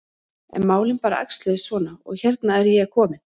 En málin bara æxluðust svona og hérna er ég komin.